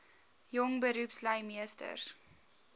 jong beroepslui meesters